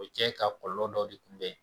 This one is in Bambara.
O bi kɛ ka kɔlɔlɔ dɔ de tunbɛ.